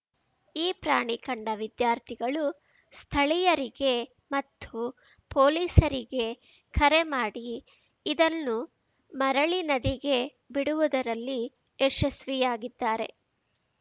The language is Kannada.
ಈ ಪ್ರಾಣಿ ಕಂಡ ವಿದ್ಯಾರ್ಥಿಗಳು ಸ್ಥಳೀಯರಿಗೆ ಮತ್ತು ಪೊಲೀಸರಿಗೆ ಕರೆಮಾಡಿ ಇದನ್ನು ಮರಳಿ ನದಿಗೆ ಬಿಡುವುದರಲ್ಲಿ ಯಶಸ್ವಿಯಾಗಿದ್ದಾರೆ